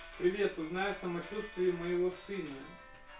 привет узнай о самочувствии моего сына